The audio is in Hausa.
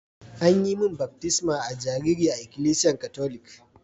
An yi mun baftisma a'jariri a ikilisiyan Catholic.